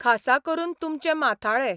खासा करून तुमचे माथाळे.